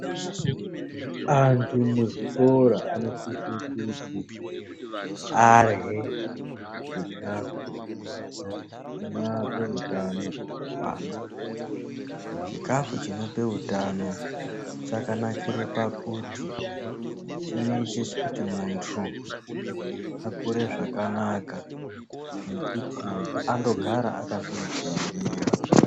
Anthu muzvikora anosise kuti arye chikafu ,chinoape utano hwakakwana. Chikafu chinope utano chakanakire pakuti chinoite kuti munthu akure zvakanaka nekuti andogara akazvigwinyira.